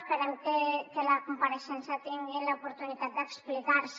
esperem que a la compareixença tingui l’oportunitat d’explicar se